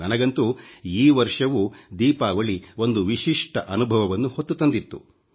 ನನಗಂತೂ ಈ ವರ್ಷವೂ ದೀಪಾವಳಿ ಒಂದು ವಿಶಿಷ್ಟ ಅನುಭವವನ್ನು ಹೊತ್ತು ತಂದಿತ್ತು